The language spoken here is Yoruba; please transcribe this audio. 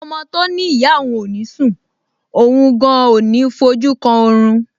Ọmọ tó ní ìyá òun ò ní sùn, òun gan-an ò ní fojú kan orun